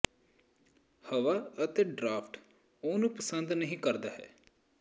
ਹਵਾ ਅਤੇ ਡਰਾਫਟ ਉਹ ਨੂੰ ਪਸੰਦ ਨਹੀ ਕਰਦਾ ਹੈ